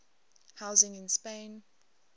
housing in spain